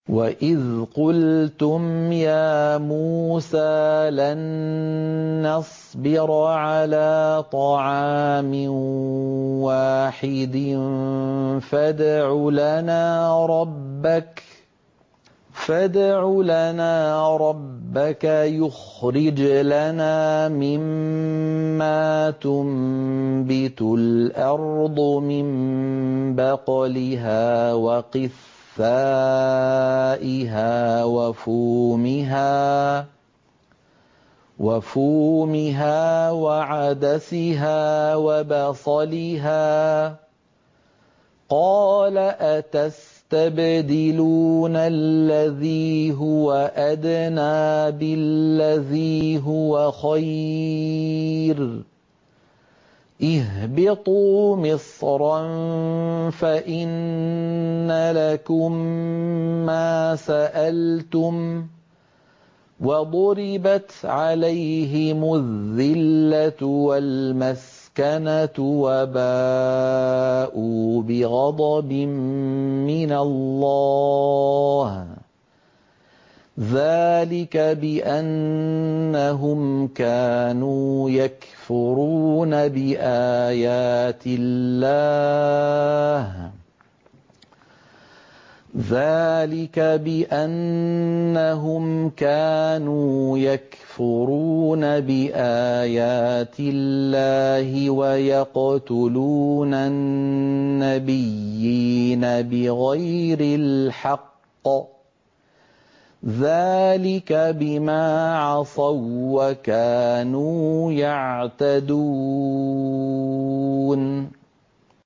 وَإِذْ قُلْتُمْ يَا مُوسَىٰ لَن نَّصْبِرَ عَلَىٰ طَعَامٍ وَاحِدٍ فَادْعُ لَنَا رَبَّكَ يُخْرِجْ لَنَا مِمَّا تُنبِتُ الْأَرْضُ مِن بَقْلِهَا وَقِثَّائِهَا وَفُومِهَا وَعَدَسِهَا وَبَصَلِهَا ۖ قَالَ أَتَسْتَبْدِلُونَ الَّذِي هُوَ أَدْنَىٰ بِالَّذِي هُوَ خَيْرٌ ۚ اهْبِطُوا مِصْرًا فَإِنَّ لَكُم مَّا سَأَلْتُمْ ۗ وَضُرِبَتْ عَلَيْهِمُ الذِّلَّةُ وَالْمَسْكَنَةُ وَبَاءُوا بِغَضَبٍ مِّنَ اللَّهِ ۗ ذَٰلِكَ بِأَنَّهُمْ كَانُوا يَكْفُرُونَ بِآيَاتِ اللَّهِ وَيَقْتُلُونَ النَّبِيِّينَ بِغَيْرِ الْحَقِّ ۗ ذَٰلِكَ بِمَا عَصَوا وَّكَانُوا يَعْتَدُونَ